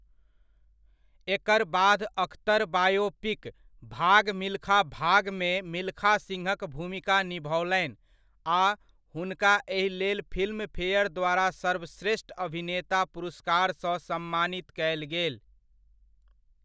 एकर बाद अख्तर बायोपिक 'भाग मिल्खा भाग'मे मिल्खा सिंहक भूमिका निभओलनि आ हुनका एहि लेल फिल्मफेयर द्वारा सर्वश्रेष्ठ अभिनेता पुरस्कारसँ सम्मानित कयल गेल।